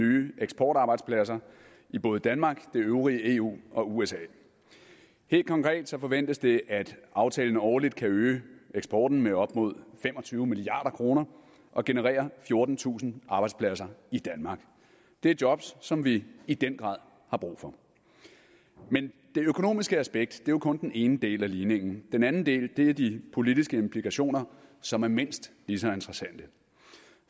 nye eksportarbejdspladser i både danmark det øvrige eu og usa helt konkret forventes det at aftalen årligt kan øge eksporten med op mod fem og tyve milliard kroner og generere fjortentusind arbejdspladser i danmark det er jobs som vi i den grad har brug for men det økonomiske aspekt er jo kun den ene del af ligningen den anden del er de politiske implikationer som er mindst lige så interessante